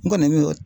N kɔni bɛ o